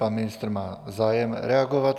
Pan ministr má zájem reagovat.